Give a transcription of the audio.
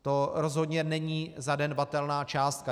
To rozhodně není zanedbatelná částka.